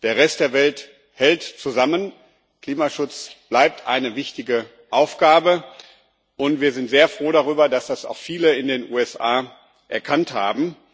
Der Rest der Welt hält zusammen, Klimaschutz bleibt eine wichtige Aufgabe, und wir sind sehr froh darüber, dass das auch viele in den USA erkannt haben.